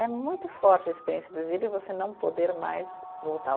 É muito forte a experiência do exílio você não poder mais voltar.